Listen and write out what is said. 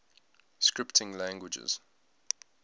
scripting languages